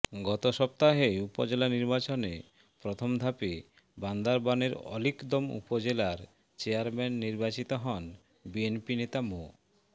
গত সপ্তাহে উপজেলা নির্বাচনের প্রথম ধাপে বান্দরবানের আলীকদম উপজেলার চেয়ারম্যান নির্বাচিত হন বিএনপি নেতা মো